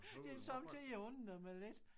Det er sommetider jeg undrer mig lidt